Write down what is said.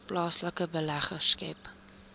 plaaslike beleggers skep